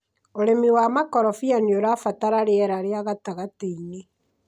ũrĩmi wa makorobia nĩũrabatara rĩera rĩa gatagatĩ-inĩ